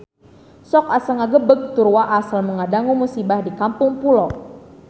Sok asa ngagebeg tur waas lamun ngadangu musibah di Kampung Pulo